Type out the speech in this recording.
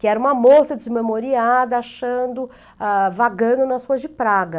Que era uma moça desmemoriada, achando ah ,vagando nas ruas de praga.